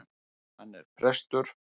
Hann er prestur!